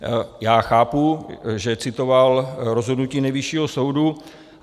Já chápu, že citoval rozhodnutí Nejvyššího soudu.